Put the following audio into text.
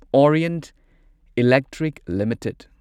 Orient Electric limited